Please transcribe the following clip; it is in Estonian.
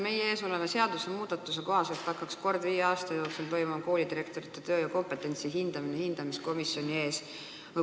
Meie ees oleva seadusmuudatuse kohaselt hakkaks hindamiskomisjon kord viie aasta jooksul koolidirektorite tööd ja kompetentsi hindama.